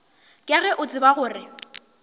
ka ge o tseba gore